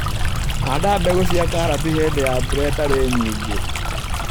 Handa mbegũ cia karati hĩndĩ ya mbura ĩtarĩ nyingĩ.